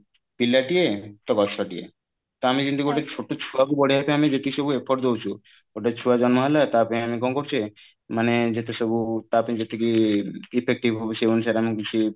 ପିଲାଟିଏ ତ ଗଛ ଟିଏ ତ ଆମେ ଯେମିତି ଗୋଟେ ଛୋଟ ଛୁଆକୁ ବଢେଇବା ପାଇଁ ଆମେ ଯେତିକି ସବୁ effort ଦଉଛୁ ଗୋଟେ ଛୁଆ ଜନ୍ମ ହେଲା ତା ପାଇଁ ଆମେ କଣ କରୁଛେ ମାନେ ଯେତେ ସବୁ ତା ପାଇଁ ଯେତିକି effective ହଉ ସେଇ ଅନୁସାରେ ଆମେ କିଛି